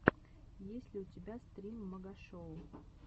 есть ли у тебя стрим магашоу